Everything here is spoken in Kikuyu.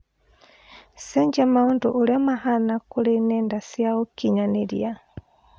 cenjĩa Maũndu ũrĩa mahana kũri nenda cĩa ũkinyanĩria